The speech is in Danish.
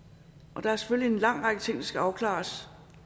og der er selvfølgelig en lang række ting der skal afklares